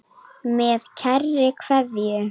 Með kærri kveðju.